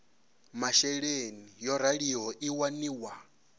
masheleni yo raliho i waniwa